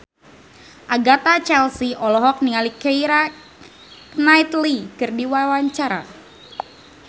Agatha Chelsea olohok ningali Keira Knightley keur diwawancara